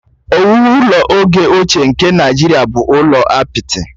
Ọwụwụ ụlọ oge ochie nke Naijiria bụ ụlọ apịtị